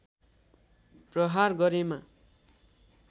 प्रहार गरेमा